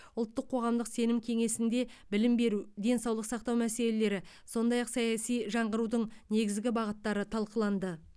ұлттық қоғамдық сенім кеңесінде білім беру және денсаулық сақтау мәселелері сондай ақ саяси жаңғырудың негізгі бағыттары талқыланды